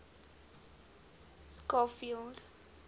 schofield